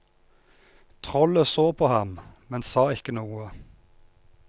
Trollet så på ham, men sa ikke noe.